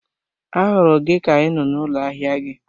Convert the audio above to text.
A hụrụ gị ka I nọ n'ụlọ ahịa gị